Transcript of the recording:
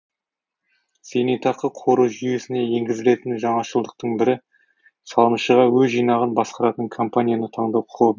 зейнетақы қоры жүйесіне енгізілетін жаңашылдықтың бірі салымшыға өз жинағын басқаратын компанияны таңдау құқығы